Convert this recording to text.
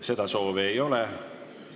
Seda soovi ei ole.